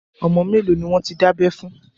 Ọmọ mẹ́lòó ni wọ́n ti dábẹ́ fún?